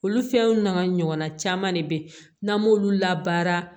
Olu fɛnw n'a ɲɔgɔnna caman de be yen n'an m'olu labaara